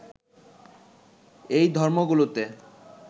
এই ধর্মগুলোতে